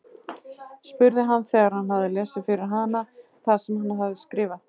spurði hann þegar hann hafði lesið fyrir hana það sem hann hafði skrifað.